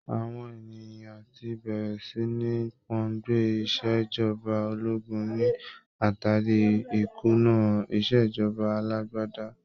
Àwọn ènìyàn ti bẹ̀rẹ̀ sí ní pòǹgbẹ Ìṣèjọba ológun ní àtàrí ìkùnà ìṣèjọba alágbádá.